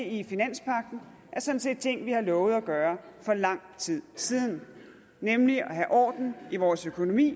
i finanspagten er sådan set ting vi har lovet at gøre for lang tid siden nemlig at have orden i vores økonomi